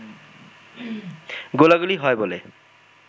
গোলাগুলি হয় বলে